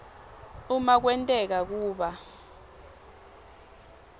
uma kwenteka kuba